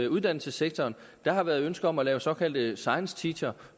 uddannelsessektoren der har været ønsker om at lave såkaldte science teacher